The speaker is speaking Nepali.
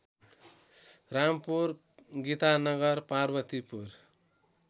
रामपुर गितानगर पार्वतीपुर